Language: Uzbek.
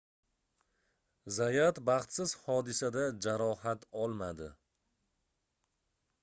zayat baxtsiz hodisada jarohat olmadi